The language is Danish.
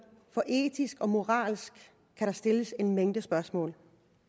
for etisk og moralsk kan der stilles en mængde spørgsmål